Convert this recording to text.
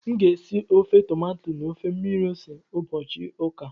Aga m esi ofe tomato na ofe mmiri ose n'ụbọchị ụka a